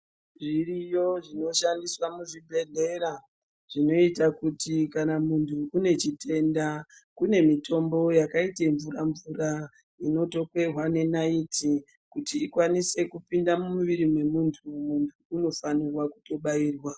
Zviriyo zvinoshandiswa muzvibhedhlera, zvinoita kuti kana munhu unechitenda kune mitombo yakaite mvura-mvura inotokehwa naiiti kuti ikwanise kupinda mumwiri mwemunhu unofanirwa kutobairwa.